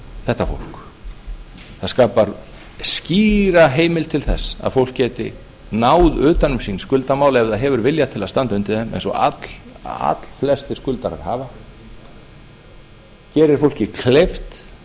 þetta fólk það skapar skýra heimild til þess að fólk geti náð utan um sín skuldamál ef það hefur vilja til að standa undir þeim eins og allflestir skuldarar hafa gerir fólki kleift